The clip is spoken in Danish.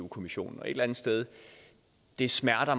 kommissionen et eller andet sted smerter